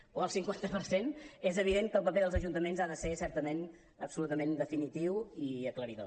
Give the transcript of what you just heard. o el cinquanta per cent és evident que el paper dels ajuntaments ha de ser certament absolutament definitiu i aclaridor